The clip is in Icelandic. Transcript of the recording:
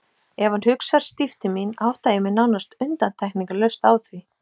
Ef hann hugsar stíft til mín átta ég mig nánast undantekningarlaust á því.